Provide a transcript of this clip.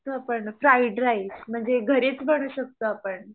Fried rice म्हणजे घरीचं करु शकतो आपणं .